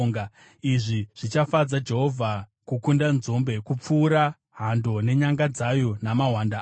Izvi zvichafadza Jehovha kukunda nzombe, kupfuura hando nenyanga dzayo, namahwanda ayo.